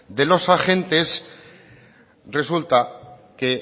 de los agentes resulta que